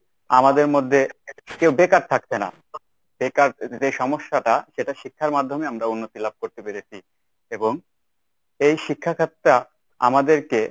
আমাদের মধ্যে কেউ বেকার থাকছে না। বেকার যে সমস্যাটা সেটা শিক্ষার মাধ্যমে আমরা উন্নতি লাভ করতে পেরেছি। এবং এই শিক্ষাখাতটা আমাদেরকে